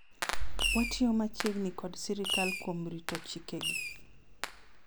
watiyo machiegni kod sirikal kuom rito chike gi